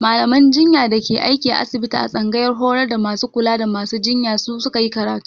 Mallaman jinya da ke aiki a asibiti a tsangayar horar da masu kula da masu jinya su ka yi karatu.